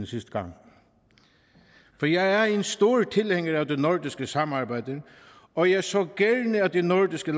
sidste gang for jeg er en stor tilhænger af det nordiske samarbejde og jeg så gerne at de nordiske